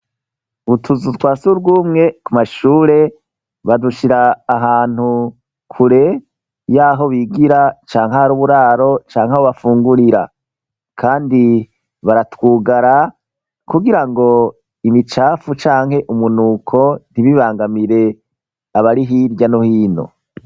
Utuzu twasugumwe ku mashure badushira ahantu kure yaho bigira cank ahari uburaro canke aho bafungurira kandi baratwugara kugira ngo imicafu canke umunuko ntibibangamire abarihirya no hino.